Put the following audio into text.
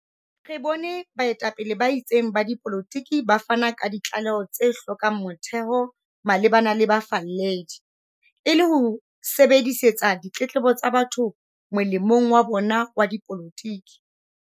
Re bone baetapele ba itseng ba dipolotiki ba fana ka ditlaleho tse hlokang motheo malebana le bafalledi, e le ho sebedisetsa ditletlebo tsa batho molemong wa bona wa dipolotiki.